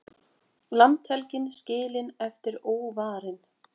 Landhelgin skilin eftir óvarin